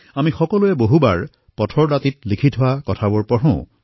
আমি বহুবাৰ পথত লিখি থোৱা জাননীসমূহ পঢ়োঁ